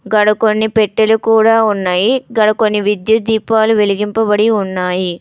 గాడ కొన్ని పెట్టెలు కూడా ఉన్నాయి. గాడ కొన్ని విద్యుత్ దీపాలు వెలిగింపబడి ఉన్నాయి.